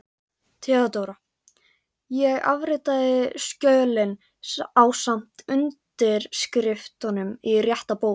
THEODÓRA: Ég afritaði skjölin ásamt undirskriftum í rétta bók.